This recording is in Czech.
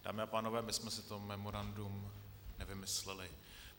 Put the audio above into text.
Dámy a pánové, my jsme si to memorandum nevymysleli.